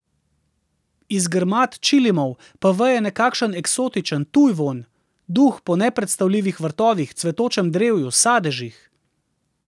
Iz grmad čilimov pa veje nekakšen eksotičen, tuj vonj, duh po nepredstavljivih vrtovih, cvetočem drevju, sadežih.